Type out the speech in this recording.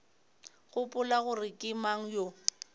gopola gore ke mang yo